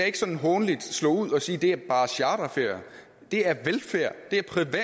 ikke sådan hånligt slynge ud og sige det er bare charterferier det er velfærd det er privat